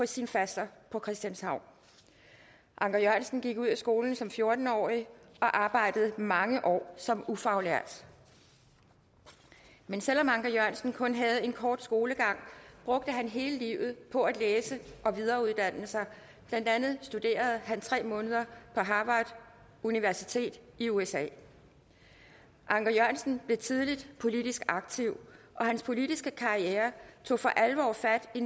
sin faster på christianshavn anker jørgensen gik ud af skolen som fjorten årig og arbejdede mange år som ufaglært men selv om anker jørgensen kun havde en kort skolegang brugte han hele livet på at læse og videreuddanne sig blandt andet studerede han tre måneder på harvard universitet i usa anker jørgensen blev tidligt politisk aktiv og hans politiske karriere tog for alvor fat i